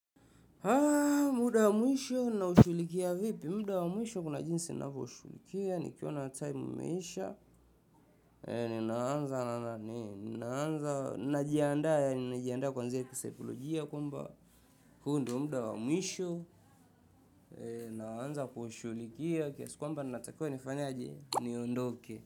Muda wa mwisho naushughulikia vipi? Muda wa mwisho kuna jinsi navyoshughulikia, nikiona time imeisha, ninaanza, na, ninaanza, najiandaa yaani najianda kuanzia kisaikolojia kwamba, huu ndo muda wa mwisho, naanza kushughulikia, kiasi kwamba natakiwa nafanyaje, niondoke.